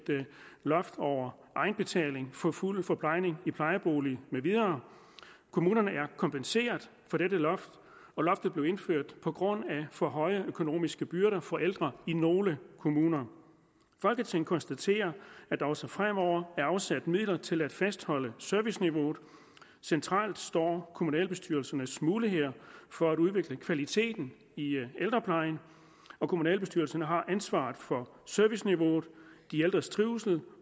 loft over egenbetaling for fuld forplejning i plejebolig med videre kommunerne er kompenseret for dette loft loftet blev indført på grund af for høje økonomiske byrder for ældre i nogle kommuner folketinget konstaterer at der også fremover er afsat midler til at fastholde serviceniveauet centralt står kommunalbestyrelsernes muligheder for at udvikle kvaliteten i ældreplejen kommunalbestyrelserne har ansvaret for serviceniveauet de ældres trivsel